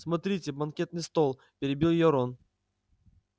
смотрите банкетный стол перебил её рон